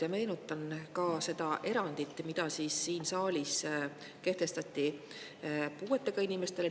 Ja meenutan ka seda erandit, mis siin saalis kehtestati puuetega inimestele.